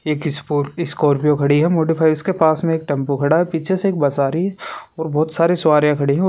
एक स्कॉर्पियो खड़ी हैमोटो उसके पास में एक टैम्पू खड़ा है पीछे से एक बस आ रही है और बहुत सारी सवारिया खड़ी है।